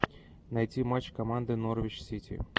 найти матч команды норвич сити